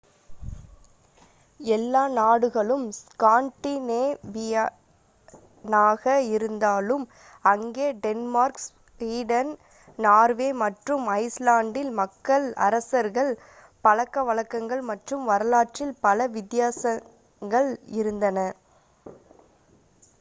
எல்லா நாடுகளும் ஸ்காண்டினேவியனாக இருந்தாலும் அங்கே டென்மார்க் ஸ்வீடன் நார்வே மற்றும் ஐஸ் லாண்ட்டில் மக்கள் அரசர்கள் பழக்க வழக்கங்கள் மற்றும் வரலாற்றில் பல வித்தியாசங்கள் இருந்தன